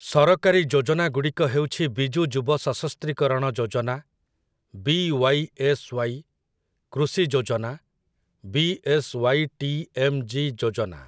ସରକାରୀ ଯୋଜନାଗୁଡ଼ିକ ହେଉଛି ବିଜୁ ଯୁବ ସଶସ୍ତ୍ରୀକରଣ ଯୋଜନା, ବି.ୱାଇ.ଏସ୍.ୱାଇ., କୃଷି ଯୋଜନା, ବି.ଏସ୍.ୱାଇ.ଟି.ଏମ୍.ଜି. ଯୋଜନା ।